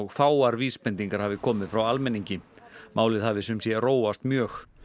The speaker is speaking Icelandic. fáar vísbendingar hafi komið frá almenningi málið hafi sumsé róast mjög